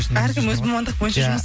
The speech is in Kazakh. әркім өз мамандық бойынша жұмыс